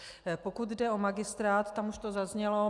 Pokud jde o magistrát, tam už to zaznělo.